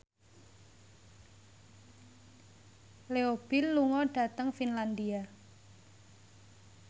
Leo Bill lunga dhateng Finlandia